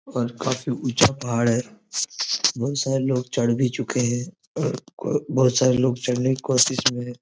और काफी ऊंचा पहाड़ है बहुत सारे लोग चढ़ भी चुके हैं और बहुत सारे लोग चढ़ने की कोशिश में हैं।